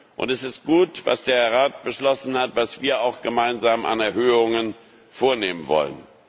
Und es ist gut, was der Rat beschlossen hat, was wir auch gemeinsam an Erhöhungen vornehmen wollen.